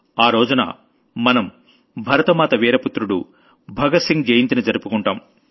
ఆ రోజున మనం భరతమాత వీర పుత్రుడు భగత్ సింగ్ జయంతిని జరుపుకుంటాం